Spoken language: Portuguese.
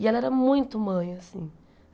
E ela era muito mãe, assim.